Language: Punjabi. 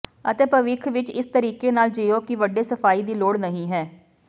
ਅਤੇ ਭਵਿੱਖ ਵਿੱਚ ਇਸ ਤਰੀਕੇ ਨਾਲ ਜੀਓ ਕਿ ਵੱਡੇ ਸਫਾਈ ਦੀ ਲੋੜ ਨਹੀਂ ਹੈ